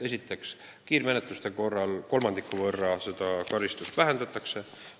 Esiteks, kiirmenetluse korral karistust kolmandiku võrra vähendatakse.